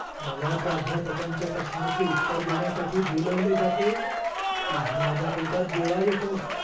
मला प्राध्यापकांच्या प्रश्नाचे उत्तर देण्यासाठी बोलवले जाते तेव्हा माझ्या पोटात गोळा येतो.